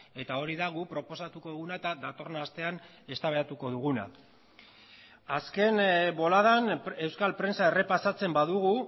eta hori da guk proposatuko duguna eta datorren astean eztabaidatuko duguna azken boladan euskal prentsa errepasatzen badugu